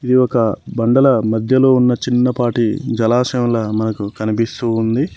ఇది ఒక బండల మధ్యలో ఉన్న చిన్నపాటి జలాశయంలా మనకు కనిపిస్తూ ఉంది.